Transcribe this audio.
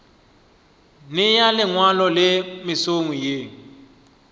nea lengwalo le mesong ye